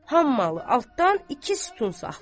Hammalı altdan iki sütun saxlayır.